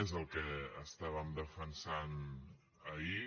és el que estàvem defensant ahir